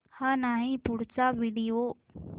हा नाही पुढचा व्हिडिओ